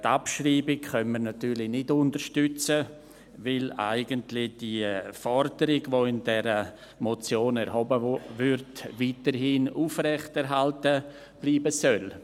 Die Abschreibung können wir natürlich nicht unterstützen, weil die Forderung, welche in dieser Motion erhoben wird, eigentlich weiterhin aufrecht erhalten bleiben soll.